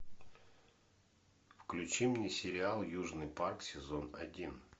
включи мне сериал южный парк сезон один